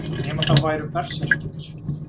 Nema það væru berserkirnir.